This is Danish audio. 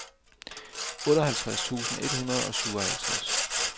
otteoghalvtreds tusind et hundrede og syvoghalvtreds